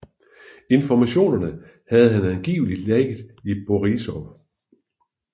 Informationerne havde han angiveligt lækket til Borisov